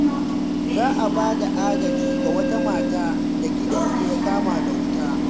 Za a ba da agaji ga wata mata da gidanta ya kama da wuta.